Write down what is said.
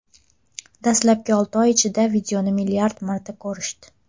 Dastlabki olti oy ichida videoni milliard marta ko‘rishdi.